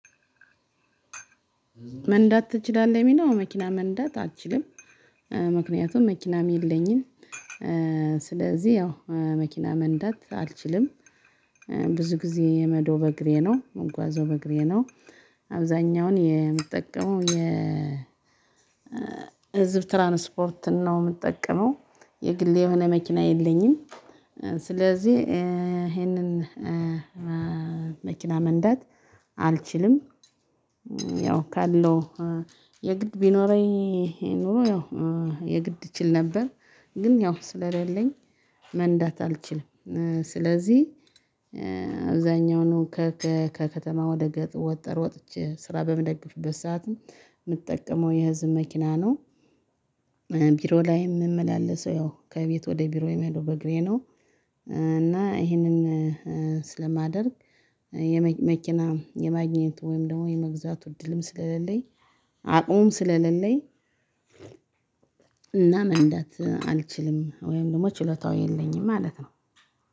መንዳት ትችላለህ የሚለው መኪና መንዳት አልችልም ምክንያቱም መኪናም የለኝም። ስለዚህ ያው መኪና መንዳት አልችልም። ብዙ ጊዜ የምሄደው በእግሬ ነው የምጓዘው በእግሬ ነው። አብዛኛውን የምጠቀመው የህዝብ ትራንስፖርት ነው የምጠቀመው። የግል የሆነ መኪና የለኝም። ስለዚህ ይሄንን መኪና መንዳት አልችልም። ያው ካለው የግድ ቢኖረኝ ኖሮ ያው የግድ እችል ነበር ግን ያው ስለሌለኝ መንዳት አልችልም። ስለዚህ አብዛኛውን ከከተማ ወደ ገጠር ወጥቼ ስራ በምደግፍበት ሰዓትም የምጠቀመው የህዝብ መኪና ነው። ቢሮ ላይ የምመላለሰው ያው ከቤት ወደ ቢሮ የምሄደው በእግሬ ነው። እና ይሄንን ስለማደርግ መኪና የማግኘቱ ወይም ደግሞ የመግዛቱ እድልም ስለሌለኝ አቅሙም ስለሌለኝ እና መንዳት አልችልም ወይም ደግሞ ችሎታው የለኝም ማለት ነው።